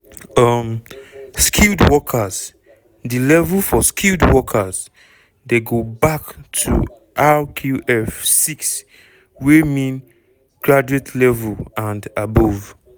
um skilled workers di level for skilled workers dey go bac to rqf 6 wey mean graduate level and above.